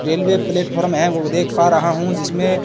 Railway platform है। वह देख पा रहा हूं जिसमें--